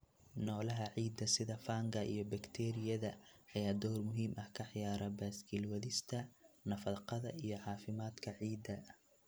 Noolaha ciidda, sida fungi iyo bakteeriyada, ayaa door muhiim ah ka ciyaara baaskiil wadista nafaqada iyo caafimaadka ciidda.